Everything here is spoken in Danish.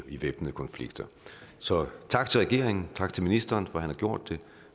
i væbnede konflikter så tak til regeringen tak til ministeren for har gjort det